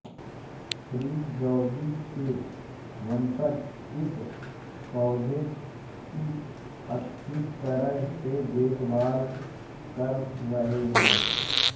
श्री जैदी के वंशज इस पौधे की अच्छी तरह से देखभाल कर रहे हैं